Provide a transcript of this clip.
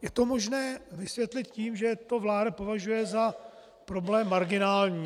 Je to možné vysvětlit tím, že to vláda považuje za problém marginální.